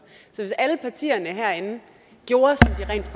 så hvis alle partierne herinde gjorde